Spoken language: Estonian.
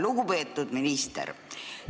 Lugupeetud minister!